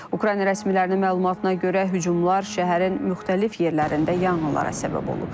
Ukrayna rəsmilərinin məlumatına görə, hücumlar şəhərin müxtəlif yerlərində yanğınlara səbəb olub.